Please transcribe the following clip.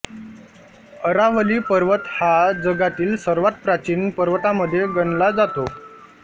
अरावली पर्वत हा जगातील सर्वात प्राचीन पर्वतामध्ये गणला जातो